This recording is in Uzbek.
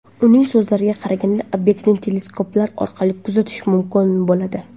Uning so‘zlariga qaraganda, obyektni teleskoplar orqali kuzatish mumkin bo‘ladi.